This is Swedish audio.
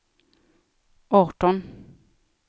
arton